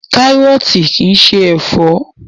Kárọ̀tì kìí ṣe ẹ̀fọ́.